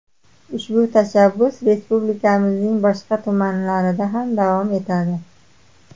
Ushbu tashabbus respublikamizning boshqa tumanlarida ham davom etadi.